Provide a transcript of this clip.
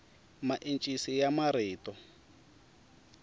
maencisi ya marito